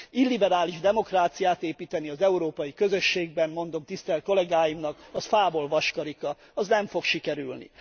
Illiberális demokráciát építeni az Európai Közösségben, mondom tisztelt kollégáimnak, az fából vaskarika, az nem fog sikerülni.